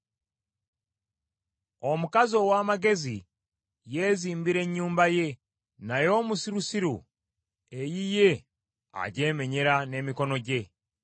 Omukazi ow’amagezi yeezimbira ennyumba ye, naye omusirusiru eyiye agyemenyera n’emikono gye.